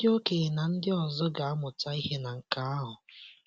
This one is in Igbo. Ndị okenye na ndị ọzọ ga amụta ihe na nke ahụ.